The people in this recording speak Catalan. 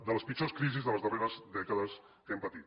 de les pitjors crisis de les darreres dècades que hem patit